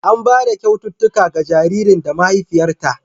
An ba da kyaututtuka ga jaririn da mahaifiyarta.